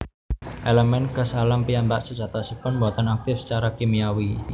Elemen gas alam piyambak sejatosipun boten aktif secara kimiawi